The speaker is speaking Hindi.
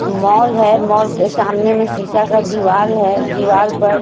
मॉल है मॉल के सामने में शीशा का दीवार है दीवार पर--